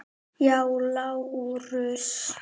Já, Lárus!